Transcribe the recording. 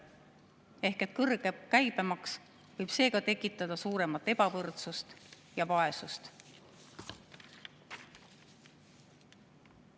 Ehk kõrge käibemaks võib seega tekitada suuremat ebavõrdsust ja vaesust.